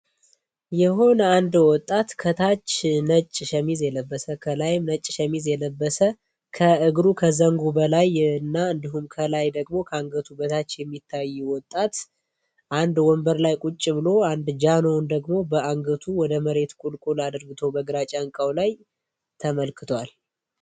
የሆነ የወጣት ከታች ነጭ ሸሚዝ የለበሰ ከላይ ነጭ ሸሚዝ የለበሰ ከእግሩ ከዘንጉ በላይ እና እንዲሁም፤ ከላይ ደግሞ ከአንገቱ በታች የሚታይ ወጣት ወንበር ላይ ቁጭ ብሎ ደግሞ በአንገቱ ወደ መሬት በግራጫ እንካው ላይ ተመልክቷል።